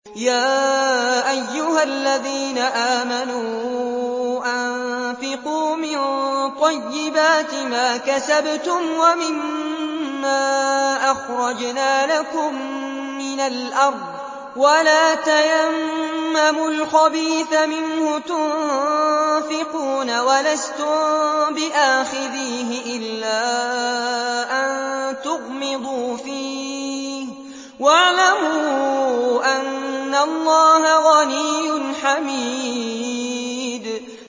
يَا أَيُّهَا الَّذِينَ آمَنُوا أَنفِقُوا مِن طَيِّبَاتِ مَا كَسَبْتُمْ وَمِمَّا أَخْرَجْنَا لَكُم مِّنَ الْأَرْضِ ۖ وَلَا تَيَمَّمُوا الْخَبِيثَ مِنْهُ تُنفِقُونَ وَلَسْتُم بِآخِذِيهِ إِلَّا أَن تُغْمِضُوا فِيهِ ۚ وَاعْلَمُوا أَنَّ اللَّهَ غَنِيٌّ حَمِيدٌ